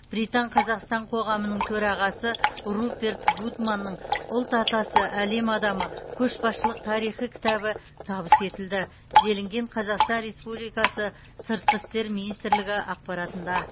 британ қазақстан қоғамының төрағасы руперт гудманның ұлт атасы әлем адамы көшбасшылық тарихы кітабы табыс етілді делінген қазақстан республикасы сыртқы істер министрлігі ақпаратында